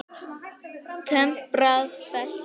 Temprað belti.